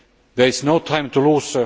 There is no time to lose.